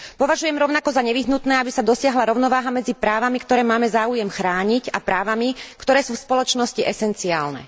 Považujem rovnako za nevyhnutné, aby sa dosiahla rovnováha medzi právami, ktoré máme záujem chrániť, a právami, ktoré sú v spoločnosti zásadné.